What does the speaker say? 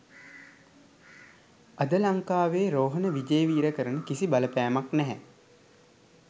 අද ලංකාවේ රෝහණ විජේවීර කරන කිසි බලපෑමක් නැහැ